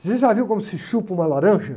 Vocês já viram como se chupa uma laranja?